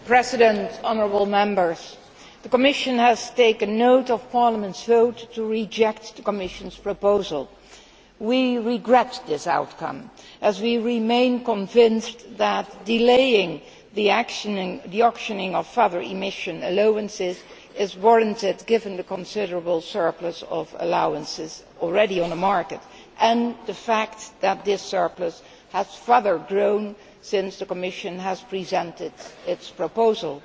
Mr President, honourable Members, the Commission has taken note of Parliament's vote to reject the Commission's proposal. We regret this outcome, as we remain convinced that delaying the auctioning of further emission allowances is warranted, given the considerable surplus of allowances already on the market and the fact that this surplus has grown further since the Commission presented its proposal.